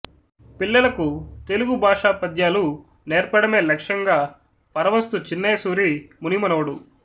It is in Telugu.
పిల్లలకు తెలుగు భాష పద్యాలు నేర్పడమే లక్ష్యంగా పరవస్తు చిన్నయ సూరి మునిమనవడు